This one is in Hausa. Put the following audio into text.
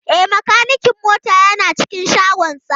E, makanikin mota yana cikin shagonsa.